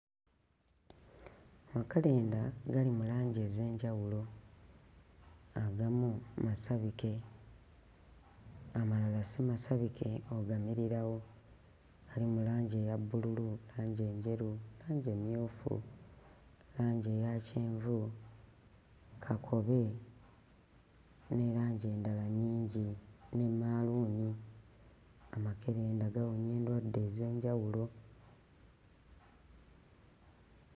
Makerenda gali mu langi ez'enjawulo, agamu masabike, amalala si masabike ogamirirawo, gali mu langi eya bbululu, langi enjeru, langi emmyufu, langi eya kyenvu, kakobe ne langi endala nnyingi ne maluuni, amakerenda gawonya endwadde ez'enjawulo.